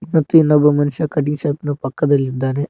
ಮತ್ತು ಇನ್ನೊಬ್ಬ ಮನುಷ್ಯ ಕಟಿಂಗ್ ಶಾಪ್ ನ ಪಕ್ಕದಲಿ ಇದಾನೆ.